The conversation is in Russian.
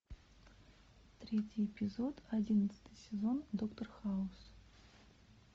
третий эпизод одиннадцатый сезон доктор хаус